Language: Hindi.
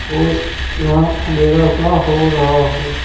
और यहां अंधेरा सा हो रहा है।